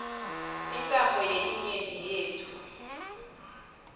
intsandvo yelinyenti yetfu